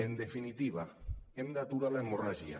en definitiva hem d’aturar l’hemorràgia